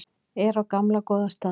Er á gamla góða staðnum.